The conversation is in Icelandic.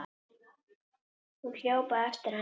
Hún hljóp á eftir henni.